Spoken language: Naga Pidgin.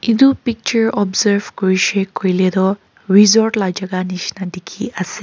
etu picture observe kuri shey koile toh resort la jaka neshina dekhey ase.